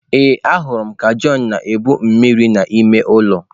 Ee, ahụrụ m John ka ọ na-ebu mmiri n'ime ụlọ.